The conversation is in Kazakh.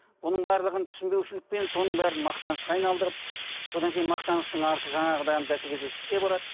бұның барлығын түсінбеушілікпен соның бәрін мақтанышқа айналдырып содан кейін мақтаныштың арты жаңағыдан бәсекелестікке барады